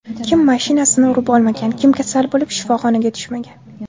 Kim mashinasini urib olmagan, kim kasal bo‘lib, shifoxonaga tushmagan.